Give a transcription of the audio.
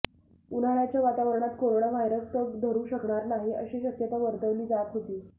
उन्हाळ्याच्या वातावरणात corona virus तग धरू शकणार नाही अशी शक्यता वर्तवली जात होती